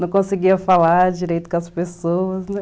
Não conseguia falar direito com as pessoas, né?